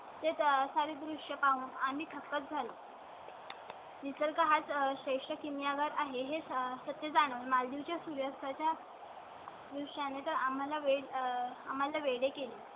त्यासाठी दृष्य पाहून आणि थक्कच झालो . ही सरका चा श्रेष्ठ किमी वर आहे हे सत्य जाणून मालदीव चे सूर्यास्ताच्या . त्यानंतर आम्हाला वेळ आम्हाला वेगळे केले.